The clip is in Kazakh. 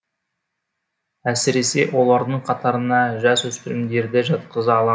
әсіресе олардың қатарына жасөспірімдерді жатқыза ала